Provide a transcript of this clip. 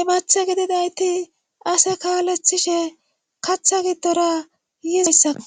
imathe gidinayti ase kaalethishe katha giddora yizayssako